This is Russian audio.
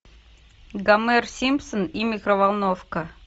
гомер симпсон и микроволновка